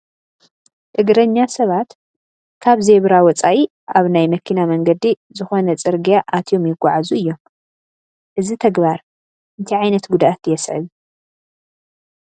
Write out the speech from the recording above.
እግረኛ ሰባት ካብ ዜብራ ወፃኢ ኣብ ናይ መኪና መንገዲ ዝኾነ ፅርጊያ ኣትዮም ይጓዓዙ እዮም፡፡ እዚ ተግባር እንታይ ዓይነት ጉድኣት የስዕብ?